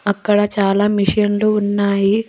అక్కడ చాలా మిషిన్లు ఉన్నాయి.